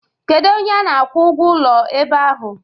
Kedu onye a na-akwụ ụgwọ ụlọ ebe ahụ?